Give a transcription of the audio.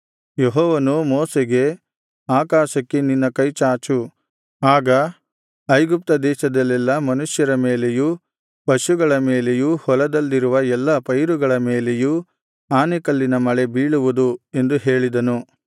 ಯೆಹೋವನು ಮೋಶೆಗೆ ಆಕಾಶಕ್ಕೆ ನಿನ್ನ ಕೈಚಾಚು ಆಗ ಐಗುಪ್ತ ದೇಶದಲ್ಲೆಲ್ಲಾ ಮನುಷ್ಯರ ಮೇಲೆಯೂ ಪಶುಗಳ ಮೇಲೆಯೂ ಹೊಲದಲ್ಲಿರುವ ಎಲ್ಲಾ ಪೈರುಗಳ ಮೇಲೆಯೂ ಆನೆಕಲ್ಲಿನ ಮಳೆ ಬೀಳುವುದು ಎಂದು ಹೇಳಿದನು